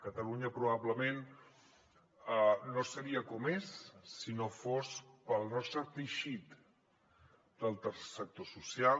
catalunya probablement no seria com és si no fos pel nostre teixit del tercer sector social